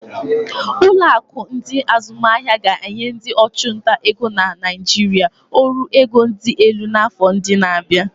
Ụlọ akụ ndi azumaahia ga-enye ndị ọchụnta ego na Naijiria ọrụ ego dị elu n'afọ ndị na-abịa.